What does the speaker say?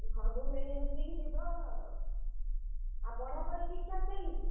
ସବୁ ମିଳିମିଶିକି ଯିବ। ଆଉ ପଢାପଢି ଠିକ୍ ଠାକ୍ ଚାଲିଛି?